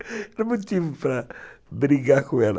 Não tive motivo para brigar com ela.